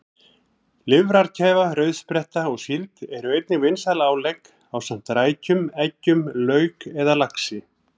Lifrarkæfa, rauðspretta og síld eru einnig vinsæl álegg ásamt rækjum, eggjum, lauk eða laxi.